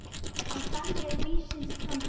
En þannig er lífsins gangur.